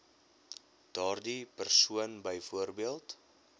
daardie persoon byvoorbeeld